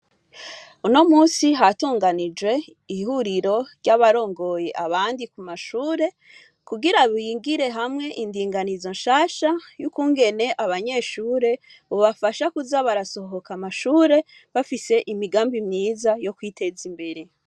Unomunsi hatonganijwe ihuriro ry'abarongoye abandi kumashure kugira bigire hamwe indinganizo nshasha y'ukungene abanyeshure bobafasha kuza barasohoka amashure bafise imigambi myiza yokwiteza imbere.